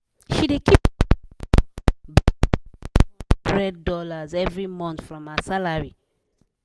she de keep for her future by saving five hundred dollars every month from her salary